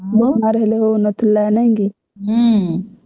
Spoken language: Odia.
ହେଲେ ହଉ ନଥିଲା ନାଇକି